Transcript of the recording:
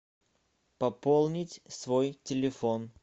пополнить свой телефон